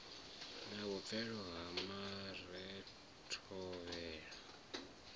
na vhupfelo ha mare thovhela